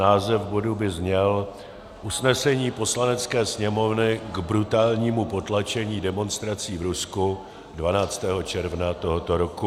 Název bodu by zněl: Usnesení Poslanecké sněmovny k brutálnímu potlačení demonstrací v Rusku 12. června tohoto roku.